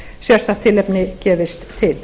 sérstakt tilefni gefist til